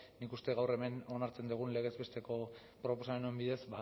nik uste dut gaur hemen onartzen dugun legez besteko proposamen honen bidez